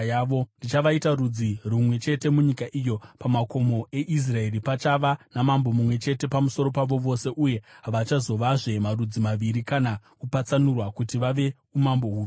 Ndichavaita rudzi rumwe chete munyika iyo, pamakomo eIsraeri. Pachava namambo mumwe chete pamusoro pavo vose uye havachazovazve marudzi maviri kana kupatsanurwa kuti vave umambo huviri.